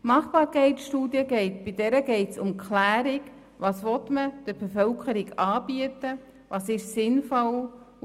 Bei der Machbarkeitsstudie geht es um die Klärung der Fragen, was man der Bevölkerung anbieten will und was sinnvoll ist.